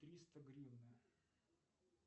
триста гривна